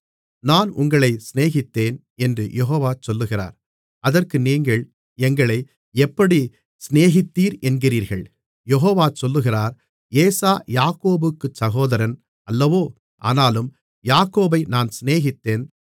நான் உங்களைச் சிநேகித்தேன் என்று யெகோவா சொல்லுகிறார் அதற்கு நீங்கள் எங்களை எப்படிச் சிநேகித்தீர் என்கிறீர்கள் யெகோவா சொல்லுகிறார் ஏசா யாக்கோபுக்குச் சகோதரன் அல்லவோ ஆனாலும் யாக்கோபை நான் சிநேகித்தேன்